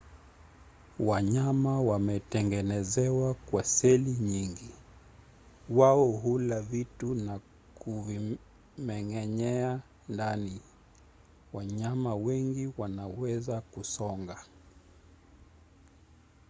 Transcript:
wanyama wametengenezwa kwa seli nyingi. wao hula vitu na kuvimeng’enyea ndani. wanyama wengi wanaweza kusonga